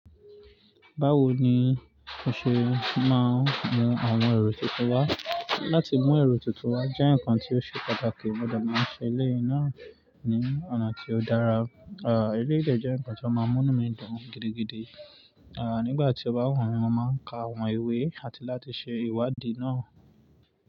Báwo ni o ṣe máa ń mú àwọn èrò tuntun wá? Láti mú èrò tuntun wá jẹ́ ǹkan tí ó ṣe pàtàkì. Mo de máa ń ṣe eléyi náà ní ọ̀nà tí ó dára. Àh, eléyi dè jẹ́ ǹkan tí ọ́ máa ń mú ínu mì dùn gidigidi. Àh, nígbà tí o bá wu mi, mo máa ń ka àwọn ìwé àti láti ṣe ìwádìí náà.